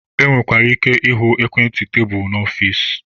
E nwekwara ike ịhụ ekwentị tebulu n'ọfici.